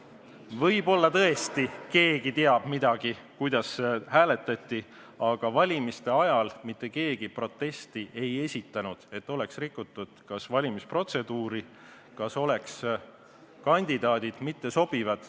Võib-olla tõesti keegi teab, kuidas hääletati, aga valimiste ajal ei esitanud mitte keegi protesti, et valimisprotseduuri oleks rikutud või et kandidaadid poleks olnud sobivad.